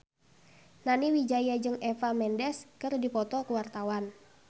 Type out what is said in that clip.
Nani Wijaya jeung Eva Mendes keur dipoto ku wartawan